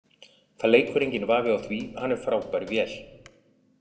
Það leikur enginn vafi á því, hann er frábær vél.